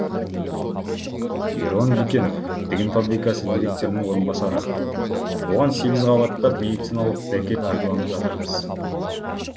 ерлан бекенов тігін фабрикасы директорының орынбасары оған сегіз қабаттап медициналық дәке пайдаланып жатырмыз